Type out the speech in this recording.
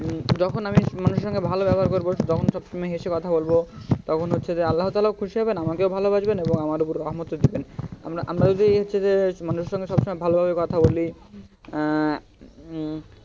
যখন আমি মানুষের সাথে ভাল ব্যবহার করব যখন সবসময় হেসে কথা বলব তখন হচ্ছে যে আল্লাহ তালহা ও খুশি হবেন আমাকেও ভালবাসবেন এবং আমার উপর রাহামত ও দিবেন আমরা আমরা যদি হচ্ছে যে মানুষের সাথে সবসময় ভাল করে কথা বলি আহ উম